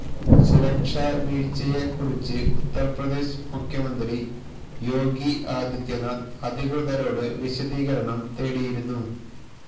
സുരക്ഷാ വീഴ്ചയെക്കുറിച്ച് ഉത്തര്പ്രദേശ് മുഖ്യമന്ത്രി യോഗി ആദിത്യനാഥ് അധികൃതരോട് വിശദീകരണം തേടിയിരുന്നു